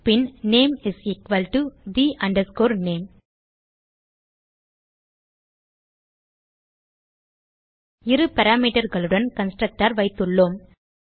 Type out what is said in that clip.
bin name is equal to the name இரு parameterகளுடன் constructor வைத்துள்ளோம்